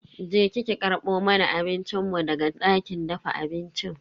Je ki ki karbo mana abincin mu daga dakin dafa abincin.